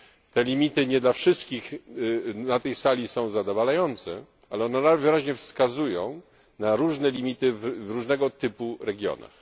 Te limity nie dla wszystkich na tej sali są zadowalające, ale one najwyraźniej wskazują na różne limity w różnego typu regionach.